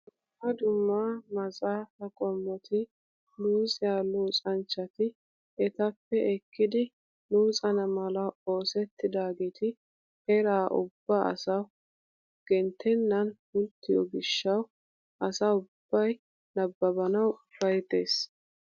Dumma dumma maxafaa qommoti luxiyaa luxanchchati etappe ekkidi luxana mala oosettidaageti eraa ubba asawu genttenan pulttiyoo giishshawu asa ubbay nababanawu ufayttees.